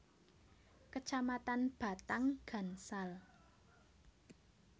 Kecamatan Batang Gansal